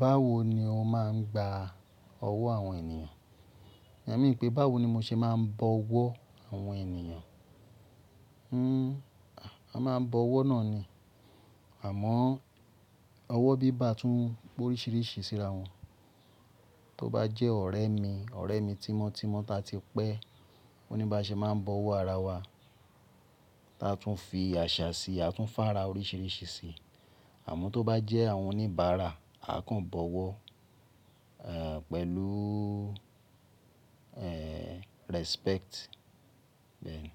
Báwo ni o máa ń gba ọwọ́ àwọn ènìyàn? Iyen mean pé báwo ni mo ṣe máa ń bọ ọwọ́ àwọn ènìyàn. Hhm a máa ń bọ ọwọ́ náà ni. Àmọ́ ọwọ́ bíbá tún pe oríṣìíríṣìí síra wọn. Tó bá jẹ́ ọ̀rẹ́ mi, ọ̀rẹ́ mi tímọ́tímọ́ ta ti pẹ́, o ní bá ṣe máa ń bọ ọwọ́ ara wa, ta tún fi àṣà síi, a tún fara oríṣìíríṣìí síi. Àmọ́ tó bá jẹ́ àwọn oníbàárà, a kàn bọ ọwọ́, ẹ́ẹ́, pẹ̀lú, ẹ́ẹ́ respect bẹ́ẹ̀ ni